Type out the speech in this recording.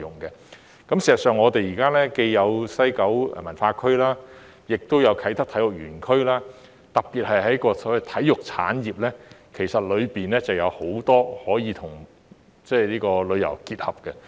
事實上，我們現在既有西九文化區，也有啟德體育園區，特別是在所謂體育產業方面，當中有很多部分其實是可以跟旅遊結合的。